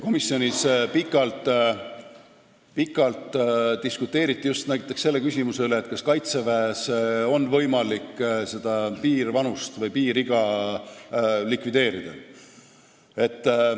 Komisjonis pikalt diskuteeriti just näiteks selle üle, kas Kaitseväes on võimalik seda piirvanust likvideerida.